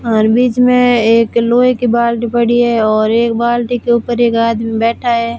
और बीच में एक लोहे के बाल्टी पड़ी है और एक बाल्टी के ऊपर एक आदमी बैठा है।